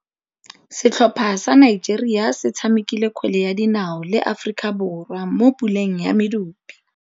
Setlhopha sa Nigeria se tshamekile kgwele ya dinaô le Aforika Borwa mo puleng ya medupe.